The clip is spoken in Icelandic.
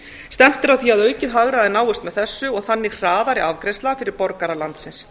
stefnt er að því að aukið hagræði náist með þessu og þannig hraðari afgreiðsla fyrir borgara landsins